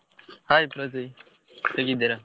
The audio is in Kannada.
Hai ಪ್ರಥ್ವಿ ಹೇಗಿದ್ದೀರ?